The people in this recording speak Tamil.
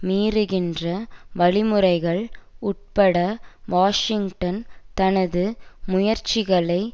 மீறுகின்ற வழிமுறைகள் உட்பட வாஷிங்டன் தனது முயற்சிகளை